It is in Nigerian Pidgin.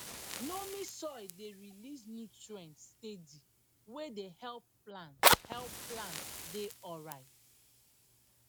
loamy soil dey release nutrients steady wey dey help plants help plants dey alright